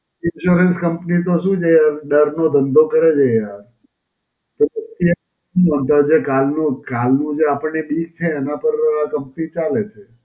Insurance company તો શું છે યાર? દર્દનો ધંધો કરે છે યાર. તો પછી એમ નોંધાશે કાલ નો કાલ નો જે આપણને બીક છે એના પર company ચાલે છે.